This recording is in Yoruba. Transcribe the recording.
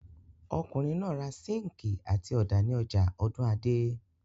Ọkùnrin náà ra síńkì àti ọ̀dà ní ọjà Ọ̀dúnadé.